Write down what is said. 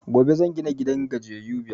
Gobe zan gina gidan gajiyayu biyar